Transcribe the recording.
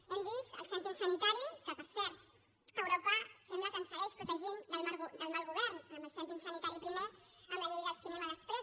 hem vist el cèntim sanitari que per cert europa sembla que ens segueix protegint del mal govern amb el cèntim sanitari primer amb la llei del cinema després